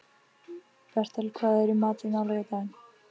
Bertel, hvað er í matinn á laugardaginn?